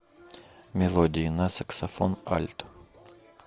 мелодии на саксофон альт